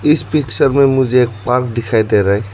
इस पिक्चर में मुझे एक पार्क दिखाई दे रहा है।